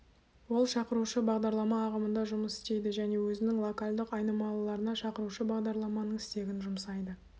ол шақырушы бағдарлама ағымында жұмыс істейді және өзінің локальдық айнымалыларына шақырушы бағдарламаның стегін жұмсайды